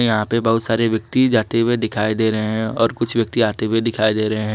यहां पे बहुत सारे व्यक्ति जाते हुए दिखाई दे रहे हैं और कुछ व्यक्ति आते हुए दिखाई दे रहे हैं।